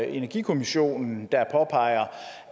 energikommissionen der påpeger